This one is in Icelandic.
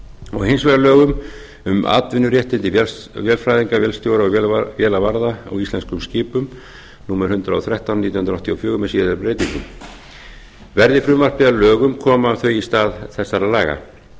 og hins vegar lögum um atvinnuréttindi vélfræðinga vélstjóra og vélavarða á íslenskum skipum númer hundrað og þrettán nítján hundruð áttatíu og fjögur með síðari breytingum verði frumvarpi að lögum koma þau í stað þessara laga